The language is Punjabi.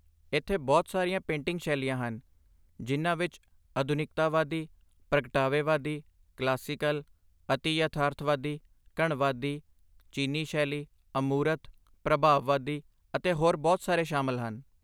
ਇੱਥੇ ਬਹੁਤ ਸਾਰੀਆਂ ਪੇਂਟਿੰਗ ਸ਼ੈਲੀਆਂ ਹਨ, ਜਿਨ੍ਹਾਂ ਵਿੱਚ ਆਧੁਨਿਕਤਾਵਾਦੀ, ਪ੍ਰਗਟਾਵੇਵਾਦੀ, ਕਲਾਸੀਕਲ, ਅਤਿ ਯਥਾਰਥਵਾਦੀ, ਘਣਵਾਦੀ, ਚੀਨੀ ਸ਼ੈਲੀ, ਅਮੂਰਤ, ਪ੍ਰਭਾਵਵਾਦੀ ਅਤੇ ਹੋਰ ਬਹੁਤ ਸਾਰੇ ਸ਼ਾਮਲ ਹਨ